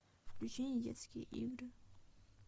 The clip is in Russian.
включи недетские игры